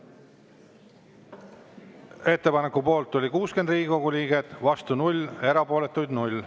Ettepaneku poolt oli 60 Riigikogu liiget, vastu 0, erapooletuid 0.